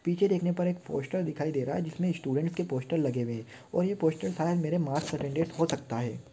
पिछे देखने पर एक पोस्टर दिखाई दे रहा जिसमे स्टूडेंट्स के पोस्टर लगे हुए है और ए पोस्टर शायद मेरे मार्क्स अटेन्डन्स् हो सकता है।